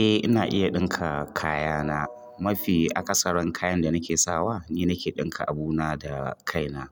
Eh ina iya ɗinka kaya na. Mafi akasaran kayan da nake sawa ni nake ɗinka abu na da kai na.